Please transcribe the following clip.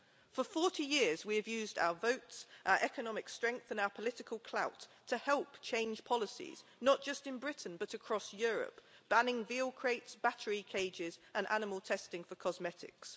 For 40 years we have used our votes, our economic strength and our political clout to help change policies, not just in Britain but across Europe, banning veal crates, battery cages and animal testing for cosmetics.